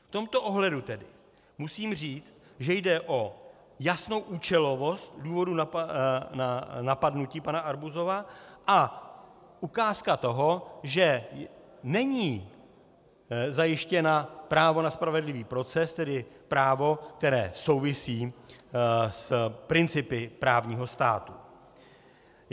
V tomto ohledu tedy musím říci, že jde o jasnou účelovost důvodu napadnutí pana Arbuzova a ukázku toho, že není zajištěno právo na spravedlivý proces, tedy právo, které souvisí s principy právního státu.